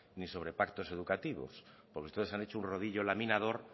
ni sobre pactos educativos porque ustedes han hecho un rodillo laminador